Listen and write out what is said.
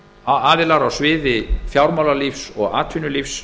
aðilar á sviði fjármálalífs og atvinnulífs